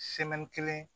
kelen